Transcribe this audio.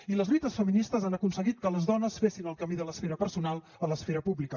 i les lluites feministes han aconseguit que les dones fessin el camí de l’esfera personal a l’esfera pública